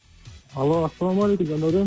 алло ассалаумағалейкум жандәурен